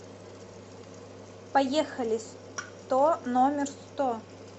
поехали сто номер сто